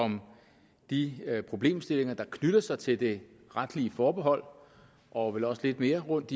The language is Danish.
om de problemstillinger der knytter sig til det retlige forbehold og vel også lidt mere rundt